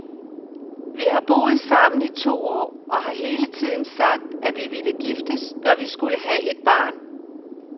Vi har boet sammen i to år og har hele tiden sagt, at vi ville giftes, når vi skulle have barn.